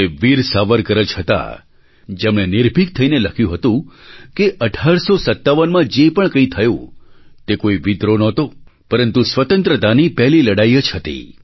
તે વીર સાવરકર જ હતા જેમણે નિર્ભિક થઈને લખ્યું હતું કે 1857માં જે પણ કંઈ થયું તે કોઈ વિદ્રોહ નહોતો પરંતુ સ્વતંત્રતાની પહેલી લડાઈ જ હતી